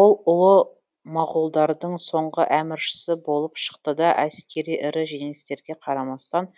ол ұлы моғолдардың соңғы әміршісі болып шықты да әскери ірі жеңістерге қарамастан